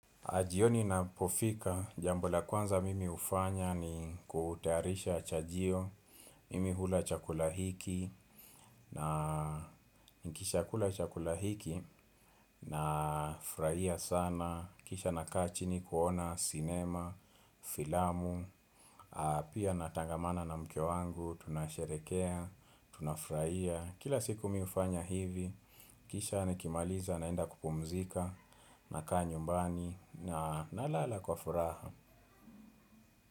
Jioni inapofika, jambo la kwanza mimi hufanya ni kutayarisha chajio, mimi hula chakula hiki na nikisha kula chakula hiki nafuraia sana, kisha nakaa chini kuona sinema, filamu, pia natangamana na mke wangu, tunasherekea, tunafraia. Kila siku mimi hufanya hivi, kisha nikimaliza naenda kupumzika nakaa nyumbani na nalala kwa furaha.